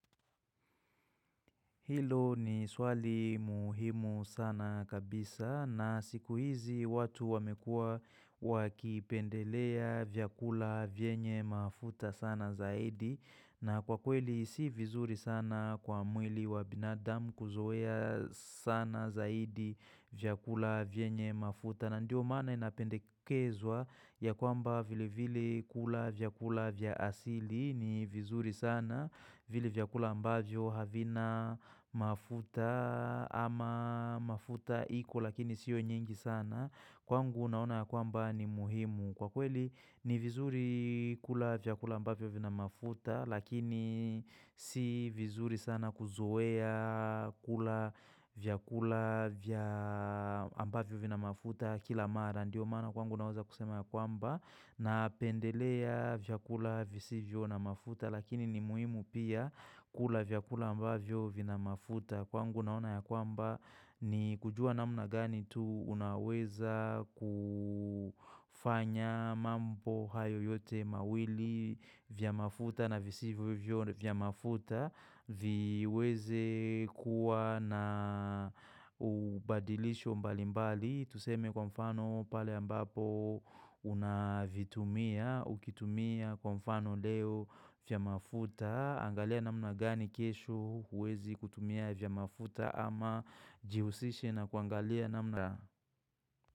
Hilo ni swali muhimu sana kabisa na siku hizi watu wamekua wakipendelea vyakula vyenye mafuta sana zaidi na kwa kweli si vizuri sana kwa mwili wa binadam kuzoea sana zaidi vyakula vyenye mafuta. Na ndio maana inapendekezwa ya kwamba vile vile kula vyakula vya asili ni vizuri sana vile vyakula ambavyo havina mafuta ama mafuta iko lakini siyo nyingi sana kwangu naona kwamba ni muhimu kwa kweli ni vizuri kula vyakula ambavyo vina mafuta lakini si vizuri sana kuzoea kula vyakula ambavyo vina mafuta kila mara ndio mana kwangu naeza kusema ya kwamba napendelea vyakula visivyo na mafuta lakini ni muhimu pia kula vyakula ambavyo vina mafuta kwangu naona ya kwamba ni kujua namna gani tu unaweza kufanya mambo hayo yote mawili vya mafuta na visivyo vya mafuta Viweze kuwa na ubadilisho mbalimbali Tuseme kwa mfano pale ambapo unavitumia Ukitumia kwa mfano leo vya mafuta angalia namna gani kesho huwezi kutumia vya mafuta ama jihusishe na kuangalia namna.